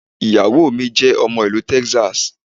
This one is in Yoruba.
Ìyàwó mi jẹ́ ọmọ Ìlú Texas